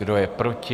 Kdo je proti?